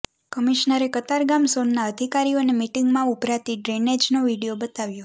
કમિશનરે કતારગામ ઝોનના અધિકારીઓને મિટિંગમાં ઊભરાતી ડ્રેનેજનો વીડિયો બતાવ્યો